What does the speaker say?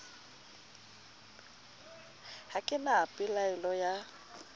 ha ke na pelaelo ya